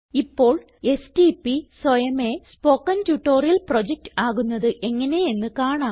ഇപ്പോൾ എസ്ടിപി സ്വയമേ spoken tutorial project ആകുന്നത് എങ്ങനെയെന്ന് കാണാം